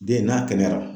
Den n'a kɛnɛyara